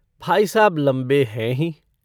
भाई साहब लम्बे हैं ही।